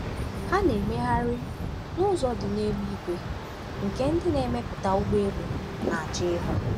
Ha na-emegharị n’ụzọ dị n’elu igwe nke ndị na-emepụta ụgbọelu na-achọ ịhụ.